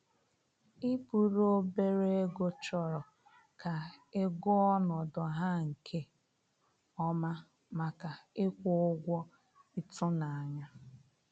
I buru obere ego chọrọ ka ị gụọ ọnọdụ ha nke ọma, maka ịkwụ ụgwọ ịtụnanya